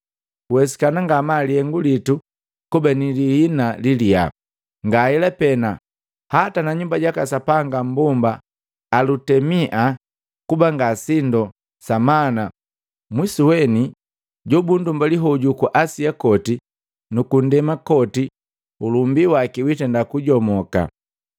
Kuwesikana ngamaa lihengu litu kuba nilihina liliyaa. Ngahela pena, hata na nyumba jaka sapanga mmbomba Alutemia kuba ngasindu sa mana mwisuweni jobunndumbali hoju ku Asia koti nuku ndema koti ulumbi waki witenda kujomoka.”